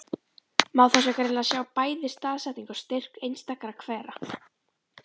Má þá greinilega sjá bæði staðsetningu og styrk einstakra hvera.